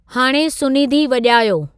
हाणे सुनीधी वॼायो